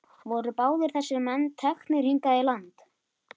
Voru báðir þessir menn teknir hingað í land.